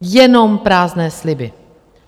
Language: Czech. Jenom prázdné sliby.